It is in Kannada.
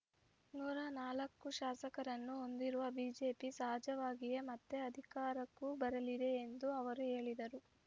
ನೂರ ನಾಲ್ಕು ಶಾಸಕರನ್ನು ಹೊಂದಿರುವ ಬಿಜೆಪಿ ಸಹಜವಾಗಿಯೇ ಮತ್ತೆ ಅಧಿಕಾರಕ್ಕೂ ಬರಲಿದೆ ಎಂದು ಅವರು ಹೇಳಿದರು